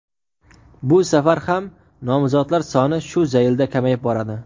bu safar ham nomzodlar soni shu zaylda kamayib boradi.